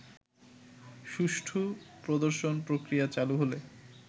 সুষ্ঠু প্রদর্শন-প্রক্রিয়া চালু হলে